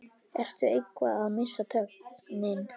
Ertu eitthvað að missa tökin?